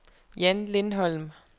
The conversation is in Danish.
Jan Lindholm